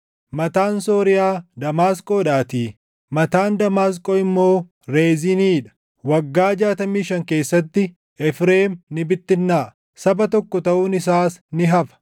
mataan Sooriyaa Damaasqoodhaatii; mataan Damaasqoo immoo Reziinii dha. Waggaa jaatamii shan keessatti, Efreem ni bittinnaaʼa; saba tokko taʼuun isaas ni hafa.